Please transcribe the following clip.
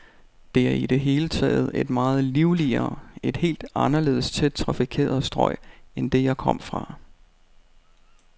Det er i det hele taget et meget livligere, et helt anderledes tæt trafikeret strøg end det, jeg kom fra.